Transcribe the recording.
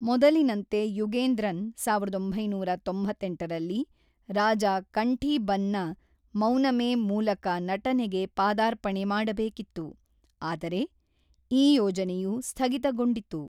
ಮೊದಲಿನಂತೆ ಯುಗೇಂದ್ರನ್ ಸಾವಿರದ ಒಂಬೈನೂರ ತೊಂಬತ್ತೆಂಟು ರಾಜ ಕಂಠೀಬನ್‌ನ ಮೌನಮೆ ಮೂಲಕ ನಟನೆಗೆ ಪಾದಾರ್ಪಣೆ ಮಾಡಬೇಕಿತ್ತು, ಆದರೆ ಈ ಯೋಜನೆಯು ಸ್ಥಗಿತಗೊಂಡಿತು.